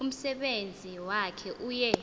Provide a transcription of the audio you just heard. umsebenzi wakhe uye